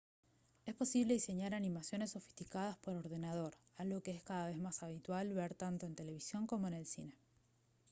es posible diseñar animaciones sofisticadas por ordenador algo que es cada vez más habitual ver tanto en la televisión como en el cine